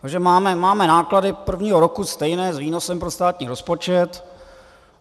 Takže máme náklady prvního roku stejné s výnosem pro státní rozpočet.